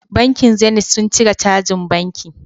Bankin zenit sun cire cajin banki